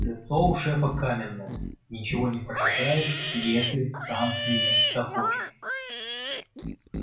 лицо у шефа каменное ничего не прочитаешь если сам не захочет